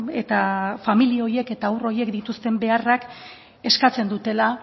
eta familia horiek eta haur horiek dituzten beharrak eskatzen dutela